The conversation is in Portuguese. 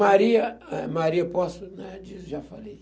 Maria, eh, Maria eu posso, né... Adilson, já falei.